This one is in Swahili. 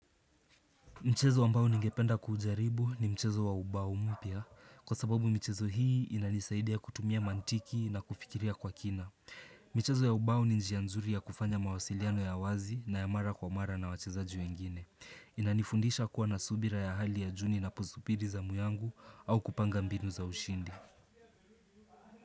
Mchezo wa mbao ningependa kuujaribu ni mchezo wa ubao mpia. Kwa sababu mchezo hii inanisaidia kutumia mantiki na kufikiria kwa kina. Mchezo ya ubao ni njia nzuri ya kufanya mawasiliano ya wazi na ya mara kwa mara na wachezaji wengine. Inanifundisha kuwa na subira ya hali ya juu ni napozupiri za muyangu au kupanga mbinu za ushindi.